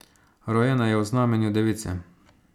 Rojena je v znamenju device.